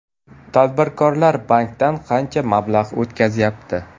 Tadbirkorlar bankdan qancha mablag‘ o‘tkazyapti?